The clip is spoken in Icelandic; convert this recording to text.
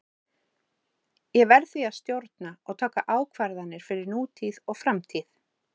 Ég verð því að stjórna og taka ákvarðanir fyrir nútíð og framtíð.